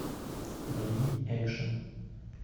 найди экшн